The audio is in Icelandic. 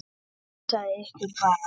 Hugsið ykkur bara!